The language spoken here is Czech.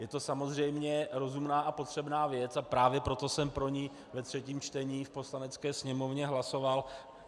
Je to samozřejmě rozumná a potřebná věc, a právě proto jsem pro ni ve třetím čtení v Poslanecké sněmovně hlasoval.